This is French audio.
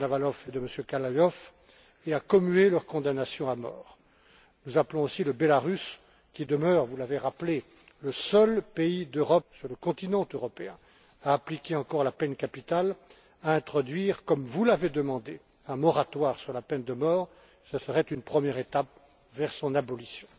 Kanavalau et Kavalyou et de commuer leurs condamnations à mort. Nous appelons aussi la Biélorussie, qui demeure vous l'avez rappelé le seul pays sur le continent européen à appliquer encore la peine capitale, à introduire, comme vous l'avez demandé, un moratoire sur la peine de mort. Ce serait une première étape vers son abolition.